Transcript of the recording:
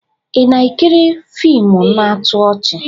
Ị na-ekiri fiimu na-atọ ọchị?